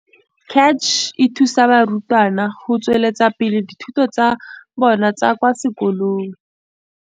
Cach e thusa barutwana go tsweletsa pele dithuto tsa bona tsa kwa sekolong.